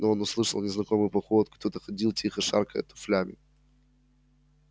но он услышал незнакомую походку кто-то ходил тихо шаркая туфлями